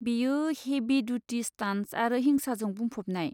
बेयो हेभि दुथि स्टान्टस आरो हिसांजों बुंफबनाय।